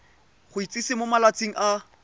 go itsise mo malatsing a